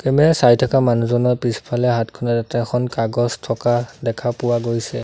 Camera চাই থকা মানুহজনৰ পিছফালে হাতখনতে এখন কাগজ থকা দেখা পোৱা গৈছে।